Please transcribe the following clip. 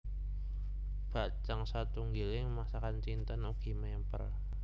Bakcang satunggiling masakan Cinten ugi mèmper